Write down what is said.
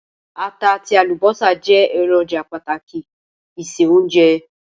Ata àtí àlùbọ́sà je èròjà pàtàkì ìse-ounje